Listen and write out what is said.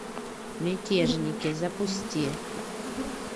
мятежники запусти